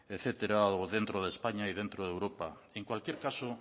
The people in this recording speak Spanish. etcétera o dentro de españa y dentro de europa en cualquier caso